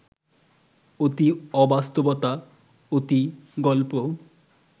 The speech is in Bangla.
অতি অবাস্তবতা, অতি গল্প